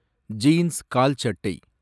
jeans கால் சட்டை